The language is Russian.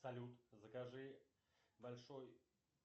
салют закажи большой